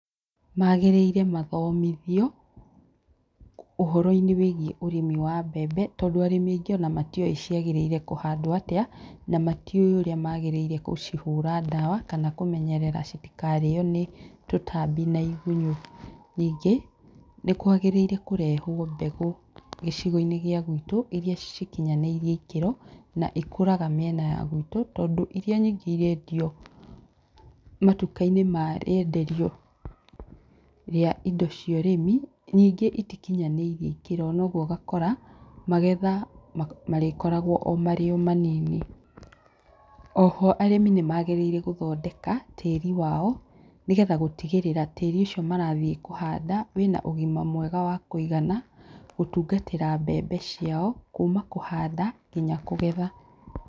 Magĩrĩire mathomithio, ũhoro-inĩ wĩgiĩ ũrĩmi wa mbembe, tondũ arĩmi aingĩ ona matiũĩ ciagĩrĩire kũhandwo atĩa, na matiũĩ ũrĩa magĩrĩire gũcihũra ndawa, kana kũmenyerera citikarĩo nĩ tũtambi na igunyũ. Nĩngĩ, nĩkwagĩrĩire kũrehwo mbegũ gĩcigo-inĩ gĩa gwitũ, iria cikinyanĩirie ikĩro, na ikũraga mĩena ya gwitũ, tondũ iria nyingĩ irendio matuka-inĩ ma rĩenderio rĩa indo cia ũrimi, nyingĩ itikinyanĩirie ikĩro. Na ũguo ũgakora magetha marĩkoragwo o marĩ o manini. Oho arĩmi nĩmagĩrĩire gũthondeka, tĩri wao, nĩgetha gũtigĩrĩra tĩri ũcio marathiĩ kũhanda wĩna ũgima mwega wa kũigana, gũtungatĩra mbembe ciao, kuma kũhanda, nginya kũgetha.